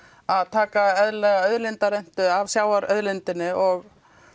að taka eðlilega af sjávarauðlindinni og